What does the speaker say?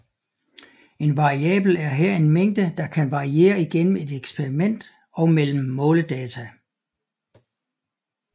En variabel er her en mængde der kan variere igennem et eksperiment og mellem måledata